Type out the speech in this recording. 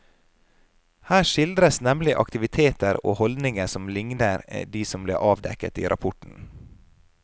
Her skildres nemlig aktiviteter og holdninger som ligner de som ble avdekket i rapporten.